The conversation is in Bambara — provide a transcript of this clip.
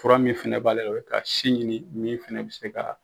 Fura min fɛnɛ b'ale ka sin ɲikin, min fɛnɛ be se ka